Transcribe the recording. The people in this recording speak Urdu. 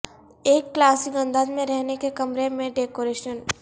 ایک کلاسک انداز میں رہنے کے کمرے میں ڈیکوریشن